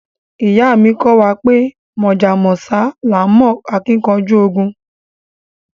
Iya mi ko wa pe Mojá mósá laa n mo akinkanju loju ogun